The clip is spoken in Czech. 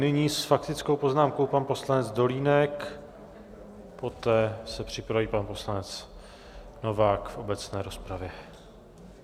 Nyní s faktickou poznámkou pan poslanec Dolínek, poté se připraví pan poslanec Novák v obecné rozpravě.